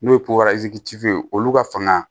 N'o ye ye olu ka fanga